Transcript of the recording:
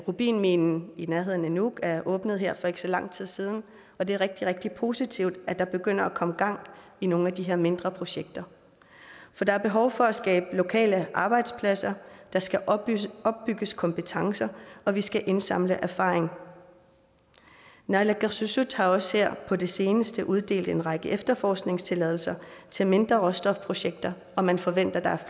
rubinminen i nærheden af nuuk er åbnet her for ikke så lang tid siden og det er rigtig rigtig positivt at der begynder at komme gang i nogle af de her mindre projekter for der er behov for at skabe lokale arbejdspladser der skal opbygges kompetencer og vi skal indsamle erfaring naalakkersuisut har også her på det seneste uddelt en række efterforskningstilladelser til mindre råstofprojekter og man forventer